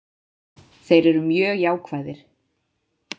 Þeir eru mjög jákvæðir